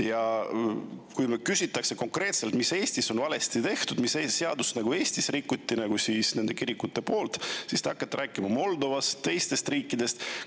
Ja kui teilt küsitakse, mis konkreetselt on Eestis valesti tehtud, mis seadust on kirik Eestis rikkunud, siis te hakkate rääkima Moldovast ja teistest riikidest.